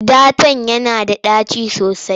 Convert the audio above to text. Ɗatan yana da ɗaci sosai.